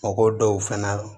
Mɔgɔ dɔw fɛnɛ